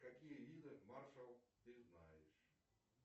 какие виды маршал ты знаешь